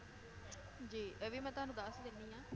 ਜੀ ਇਹ ਵੀ ਮੈ ਤੁਹਾਨੂੰ ਦੱਸ ਦਿੰਨੀ ਆ